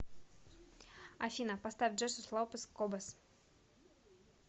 афина поставь джесус лопес кобос